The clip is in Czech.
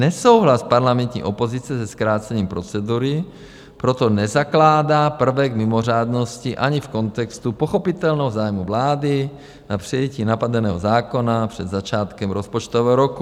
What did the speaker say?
Nesouhlas parlamentní opozice se zkrácením procedury proto nezakládá prvek mimořádnosti ani v kontextu pochopitelného zájmu vlády na přijetí napadeného zákona před začátkem rozpočtového roku.